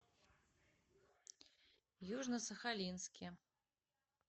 южно сахалинске